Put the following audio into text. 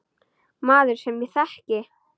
Maður, sem ég þekki.